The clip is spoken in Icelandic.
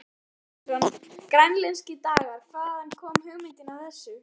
Heimir Már Pétursson: Grænlenskir dagar, hvaðan kom hugmyndin af þessu?